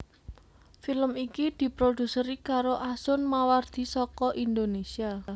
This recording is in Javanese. Film iki diproduseri karo Asun Mawardi saka Indonésia